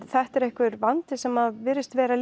þetta er einhver vandi sem virðist vera